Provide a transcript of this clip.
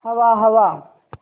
हवा हवा